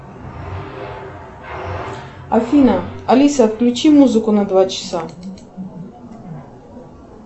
афина алиса включи музыку на два часа